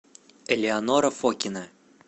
элеонора фокина